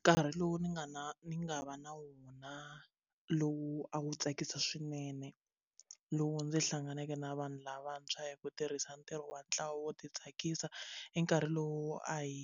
Nkarhi lowu ni nga na ni nga va na wona lowu a wu tsakisa swinene lowu ndzi hlanganeke na vanhu lavantshwa hi ku tirhisa ntirho wa ntlawa wo ti tsakisa i nkarhi lowu a hi